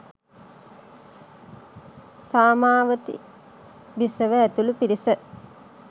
සාමාවතී බිසව ඇතුළු පිරිස